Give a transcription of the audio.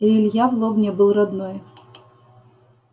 и илья в лобне был родной